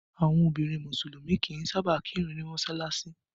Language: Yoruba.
Àwọn obìnrin musulumi kì í sáábà kirun ni mọsalasi